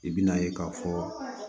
I bɛna ye k'a fɔ